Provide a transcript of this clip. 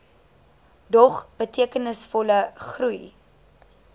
dog betekenisvolle groei